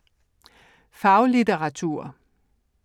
Faglitteratur